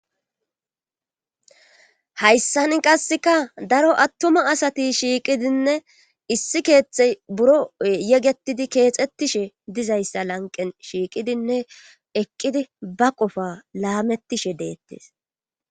hayssan qasseka daro attuma asati shiiqidinne issi keeththey buro yegetidi keexettishe dizayssa lanqen shiiqidinne eqqidi ba qofa laamettishe deettes